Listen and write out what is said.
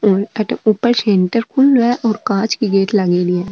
अठे ऊपर सेण्टर खुलो है और कांच की गेट लागेड़ी है।